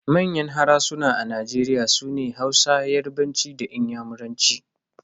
Manyan harsuna a Nigeria sune Hausa, yarbanci da inyamuranci.